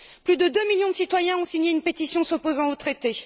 Plus de deux millions de citoyens ont signé une pétition s'opposant au traité.